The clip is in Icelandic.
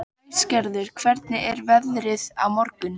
Æsgerður, hvernig er veðrið á morgun?